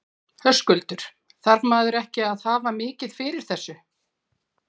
Höskuldur: Þarf maður ekki að hafa mikið fyrir þessu?